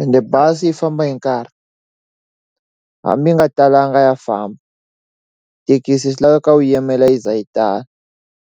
ende bazi yi famba hi nkarhi hambi yi nga talanga ya famba thekisi swi laveka u yimela yi ze yi tala.